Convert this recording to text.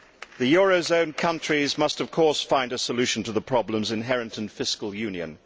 The eurozone countries must, of course, find a solution to the problems inherent in fiscal union.